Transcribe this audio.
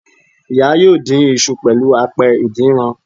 Ìya yóò dín isu pẹ̀lú apẹ ìdínran